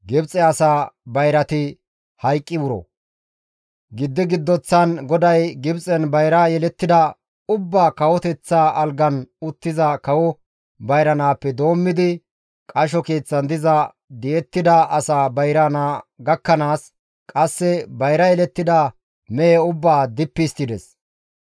Giddi giddoththan GODAY Gibxen bayra yelettida ubbaa kawoteththa algan uttiza kawo bayra naappe doommidi, qasho keeththan diza di7ettida asaa bayra naa gakkanaas, qasse bayra yelettida mehe ubbaa dippi histtides.